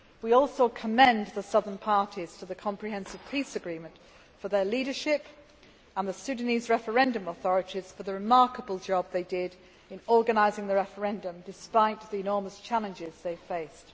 We also commend the Southern parties to the Comprehensive Peace Agreement for their leadership, and the Sudanese Referendum Authorities for the remarkable job they did in organising the referendum despite the enormous challenges they faced.